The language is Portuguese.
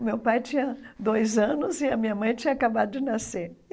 O meu pai tinha dois anos e a minha mãe tinha acabado de nascer.